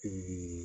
Pikiri